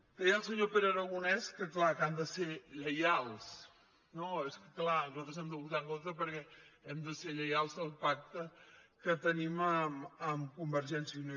deia el senyor pere aragonès que clar que han de ser lleials no és que clar nosaltres hi hem de votar en contra perquè hem de ser lleials al pacte que tenim amb convergència i unió